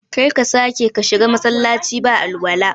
Kar ka sake ka shiga Masallaci ba alwala